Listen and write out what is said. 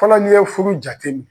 Fɔlɔ nin ye furu jate minɛ